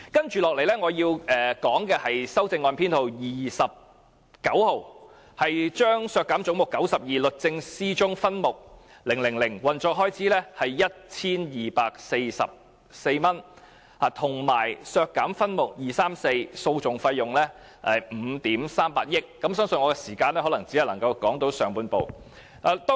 接着，我想討論修正案編號 29， 有關削減"總目 92― 律政司"中的分目 000， 涉及運作開支約 1,244 萬元；以及就修正案編號 30， 削減總目92中的分目 234， 涉及訴訟費用5億 3,800 萬元。